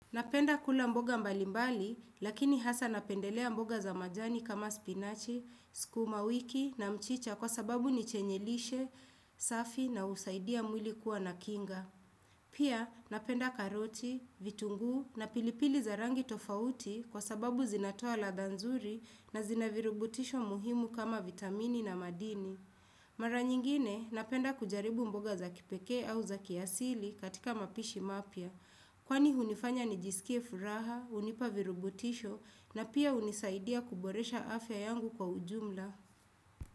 Napenda kula mboga mbalimbali, lakini hasa napendelea mboga za majani kama spinachi, skuma wiki na mchicha kwa sababu nichenyelishe, safi na usaidia mwili kuwa na kinga. Pia napenda karoti, vitunguu na pilipili za rangi tofauti kwa sababu zinatoa ladha nzuri na zina virubutisho muhimu kama vitamini na madini. Mara nyingine napenda kujaribu mboga za kipekee au za kiasili katika mapishi mapya. Kwani hunifanya nijisikie furaha, hunipa virubutisho na pia hunisaidia kuboresha afya yangu kwa ujumla.